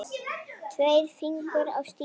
Tveir fingur á stýri.